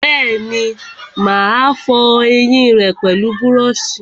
Bẹ́ẹ̀ni, mà á fọ ẹyìn rẹ pẹlú búrọ̀sì